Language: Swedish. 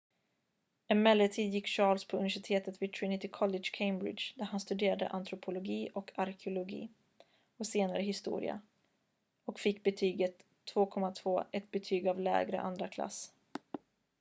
emellertid gick charles på universitetet vid trinity college cambridge där han studerade antropologi och arkeologi och senare historia och fick betyget 2:2 ett betyg av lägre andraklass